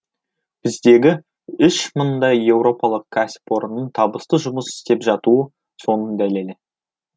біздегі үш мыңдай еуропалық кәсіпорынның табысты жұмыс істеп жатуы соның дәлелі